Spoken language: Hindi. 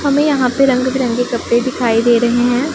हमें यहां पे रंग बिरंगे कपड़े दिखाई दे रहे हैं।